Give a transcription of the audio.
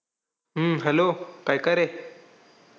हम्म hello काय काय रे?